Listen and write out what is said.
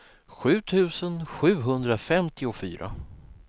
sju tusen sjuhundrafemtiofyra